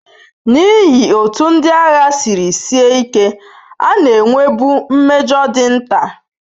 N'ihi otú ndị agha siri sie ike, a na-enwebu mmejọ dị nta.